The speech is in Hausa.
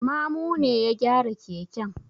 Mamu ne ya gyara keken.